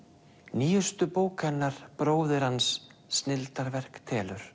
nýjustu bók hennar bróðir hans snilldarverk telur